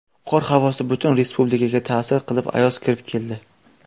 Qor havosi butun respublikaga ta’sir qilib ayoz kirib keldi.